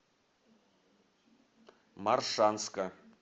моршанска